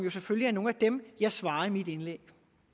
er nogle af dem jeg svarer i mit indlæg